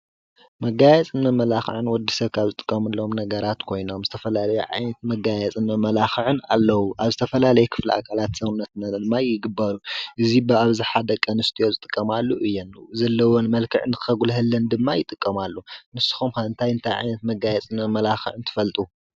መጋየፅን መመላክዕን ንወዲ ሰብ ካብ ዝጥቀሙሎም ነገራት ኮይኖም ዝተፈላለዩ ዓይነት መጋየፅን መመላክዕን ኣለዉ። ኣብ ዝተፈላለዩ ናይ ክፍሊ ኣካላት ሰውነትና ድማ ይግበሩ። እዚ ብኣብዝሓ ደቂ ኣንስትዮ ዝጥቀማሉ እየን። ዘለዎን መልክዕ ንከጉልሀለን ድማ ይጥቀማሉ። ንሱኹም ከ እንታይ እንታይ ዓይነት መጋየፂን መመላክዕን ትፈልጡ?